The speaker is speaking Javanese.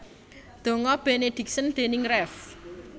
Donga Benediction déning Rev